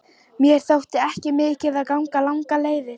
Mér þótti ekki mikið að ganga langar leiðir.